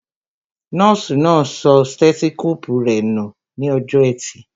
Nọ́ọ̀sì náà sọ sítẹ́tósíkóòpù rẹ nù ní ọjọ́ọ ẹtì